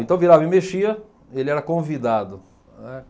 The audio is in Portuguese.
Então virava e mexia, ele era convidado, né.